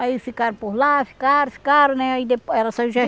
Aí ficaram por lá, ficaram, ficaram né aí depo ela saiu